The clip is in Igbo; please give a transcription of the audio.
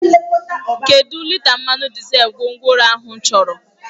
Kedụ lita mmanụ dizel ka gwongworo ahụ chọrọ?